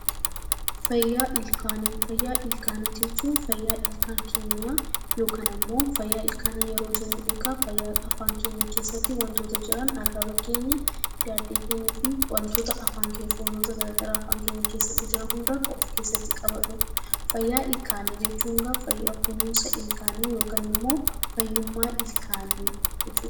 Fayyaa ilkaanii: Fayyaa ilkaanii jechuun fayyaa ilkaan keenya yookaan immoo fayyaa ilkaanii yeroo jennu egaa afaan keenya keessatti wantoota jiran arraba keenya daaddee keenyaa fi wantoota afaan keenya foonota gargaraa afaan keenya keessatti jiran hunda kan of keessatti qabatudha. Fayyaa ilkaanii jechuun egaa fayyaa kunuunsa ilkaanii yookaan immoo fayyummaa ilkaanii jechuudha.